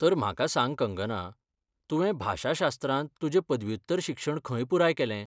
तर, म्हाका सांग कंगना, तुवें भाशाशास्त्रांत तुजें पदव्युत्तर शिक्षण खंय पुराय केलें?